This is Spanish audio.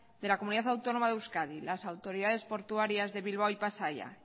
de la comunidad autónoma de euskadi las autoridades portuarias de bilbao y pasaia